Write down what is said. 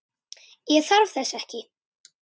Ég þarf þess ekki.